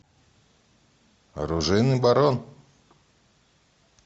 оружейный барон